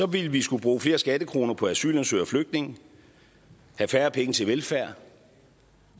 ville vi skulle bruge flere skattekroner på asylansøgere og flygtninge have færre penge til velfærd